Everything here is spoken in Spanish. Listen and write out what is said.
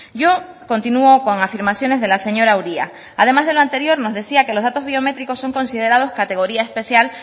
yo continúo con afirmaciones de la señora uria además de lo anterior nos decía que los datos biométricos son considerados categoría especial